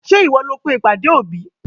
Ṣé ìwọ ni ó pe ìpàdé òbí?